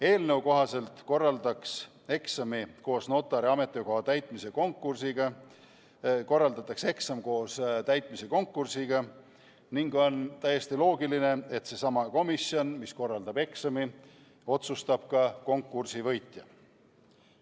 Eelnõu kohaselt korraldatakse eksam koos notari ametikoha täitmise konkursiga ning on täiesti loogiline, et seesama komisjon, mis korraldab eksami, otsustab ka konkursi võitja.